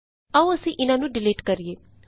ਆਉ ਅਸੀਂ ਇਹਨਾਂ ਨੂੰ ਡਿਲੀਟ ਕਰੀਏ